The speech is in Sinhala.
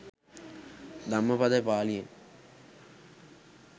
ධම්මපද පාලියේ